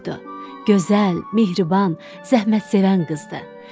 Gözəl, mehriban, zəhmətsevən qızdır.